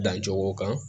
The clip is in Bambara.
Dan cogo kan